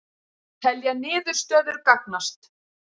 Telja niðurstöður gagnast